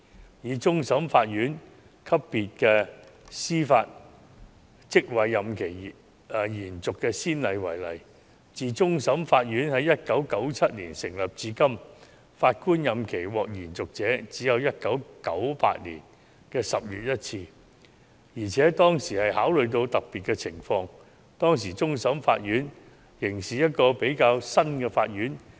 至於終審法院級別司法職位任期延續的先例，終審法院自1997年成立至今，只是在1998年10月曾有一位法官的任期獲得延續，而當時考慮的特別情況是終審法院成立不久。